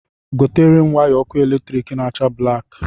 Gotere m waya ọkụ elektrik na-acha blaki!